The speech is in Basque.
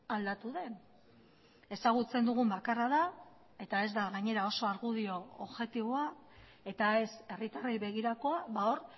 aldatu den ezagutzen dugun bakarra da eta ez da gainera oso argudio objektiboa eta ez herritarrei begirakoa hor